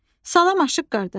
Salam aşıq qardaş.